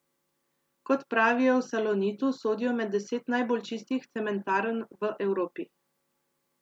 Kot pravijo v Salonitu, sodijo med deset najbolj čistih cementarn v Evropi.